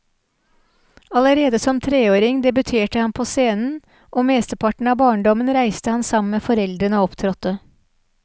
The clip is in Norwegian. Allerede som treåring debuterte han på scenen, og mesteparten av barndommen reiste han sammen med foreldrene og opptrådte.